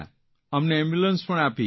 અમને એમ્બ્યુલન્સ પણ આપી